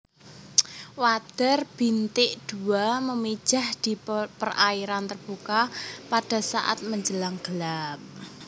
Wader bintik dua memijah di perairan terbuka pada saat menjelang gelap